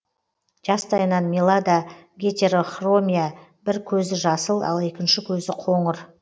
жастайынан милада гетерохромия бір көзі жасыл ал екінші көзі қоңыр